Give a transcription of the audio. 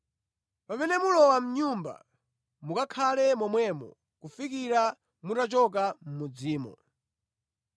Pamene mulowa mʼnyumba mukakhale momwemo kufikira mutachoka mʼmudzimo.